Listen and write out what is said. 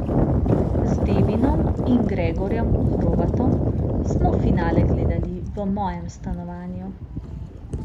Z Devinom in Gregorjem Hrovatom smo finale gledali v mojem stanovanju.